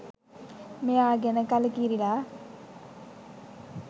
මෙයා ගැන කලකිරිලා.